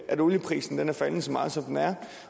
at olieprisen er faldet så meget som den er